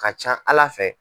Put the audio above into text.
Ka ca Ala fɛ.